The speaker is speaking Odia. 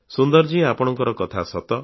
ସୁନ୍ଦରଜୀ ଆପଣଙ୍କ କଥା ସତ